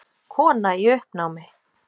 Kona í uppnámi!